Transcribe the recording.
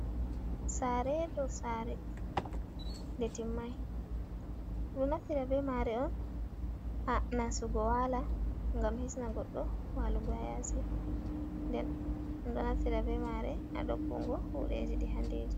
Saare dow saare nde timmai ɗum ɗo naftira bee maare on, nastugo waala ngam hisna goɗɗo waalugo haa yaasi' nden ɗo naftira bee maare a nyukkingo huundeeji ɗi handi.